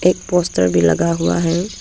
Poster भी लगा हुआ है।